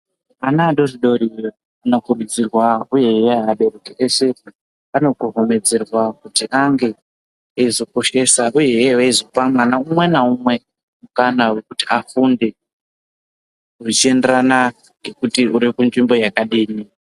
Ana adori dori zviro kwazvo ano kurudzirwa uyehe abereki ese ano ko homedzerwa kuti ange eizo koshesa uyehe veizopa mwana umwe na umwe mukana wekuti afunde uchi enderana ngekuti uriku nzvimbo yakadini.